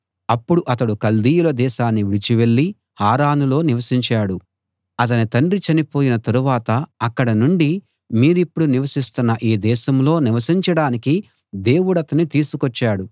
అప్పుడతడు కల్దీయుల దేశాన్ని విడిచి వెళ్ళి హారానులో నివసించాడు అతని తండ్రి చనిపోయిన తరువాత అక్కడ నుండి మీరిప్పుడు నివసిస్తున్న ఈ దేశంలో నివసించడానికి దేవుడతన్ని తీసుకొచ్చాడు